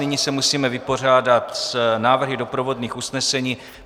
Nyní se musíme vypořádat s návrhy doprovodných usnesení.